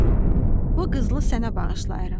Al, oğlum, bu qızılı sənə bağışlayıram.